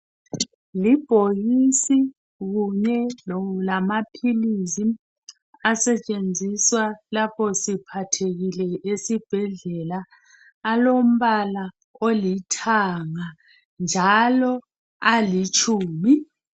Libhokisi kunye lamaphilisi asentshenziswa lapho siphathekile esibhedlela alombala olithanga njalo alitshumi